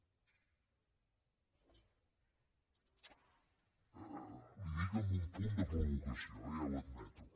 li ho dic amb un punt de provocació eh ja ho admeto